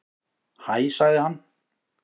Hæ sagði hann.